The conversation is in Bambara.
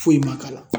Foyi ma k'a la